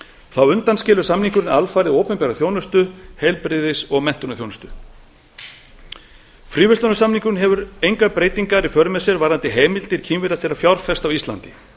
þá undanskilur samningurinn opinbera þjónustu heilbrigðis og menntunarþjónustu fríverslunarsamningurinn hefur engar breytingar í för með sér varðandi heimildir kínverja til að fjárfesta á íslandi